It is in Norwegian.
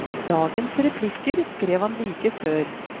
Dagens replikker skrev han like før.